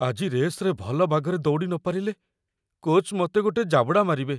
ଆଜି ରେସ୍‌ରେ ଭଲ ବାଗରେ ଦୌଡ଼ି ନପାରିଲେ, କୋଚ୍‌ ମତେ ଗୋଟେ ଜାବଡ଼ା ମାରିବେ ।